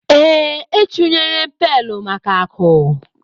Ee, e chunyere m pailu maka akụ.